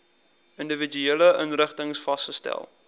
individuele inrigtings vasgestel